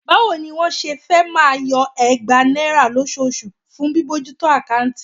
Báwo ni wọ́n ṣe fẹ́ máa yọ ẹgbàá náírà lóṣooṣù fún bíbójútó àkáùntì?